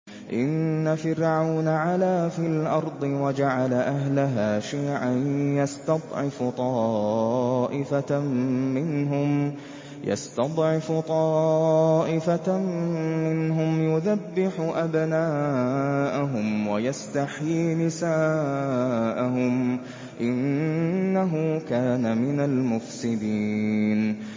إِنَّ فِرْعَوْنَ عَلَا فِي الْأَرْضِ وَجَعَلَ أَهْلَهَا شِيَعًا يَسْتَضْعِفُ طَائِفَةً مِّنْهُمْ يُذَبِّحُ أَبْنَاءَهُمْ وَيَسْتَحْيِي نِسَاءَهُمْ ۚ إِنَّهُ كَانَ مِنَ الْمُفْسِدِينَ